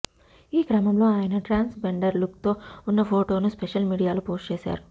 ఈ క్రమంలో ఆయన ట్రాన్స్ జెండర్ లుక్ తో ఉన్న ఫొటోను సోషల్ మీడియాలో పోస్టు చేశారు